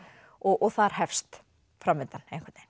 og þar hefst framvindan